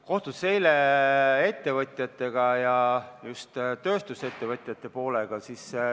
Kohtusin eile ettevõtjatega, just tööstusettevõtjate poolega.